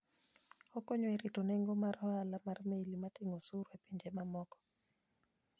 Okonyo e rito nengo mag ohala mar meli mating'o osuru e pinje mamoko.